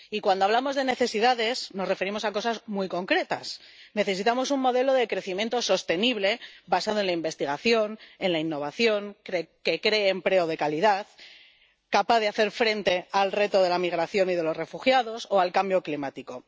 Y cuando hablamos de necesidades, nos referimos a cosas muy concretas necesitamos un modelo de crecimiento sostenible basado en la investigación, en la innovación, que cree empleo de calidad, capaz de hacer frente al reto de la migración y de los refugiados o al cambio climático.